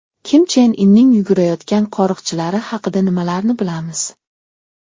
Kim Chen Inning yugurayotgan qo‘riqchilari haqida nimalarni bilamiz?.